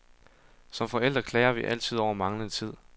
Som forældre klager vi altid over manglende tid.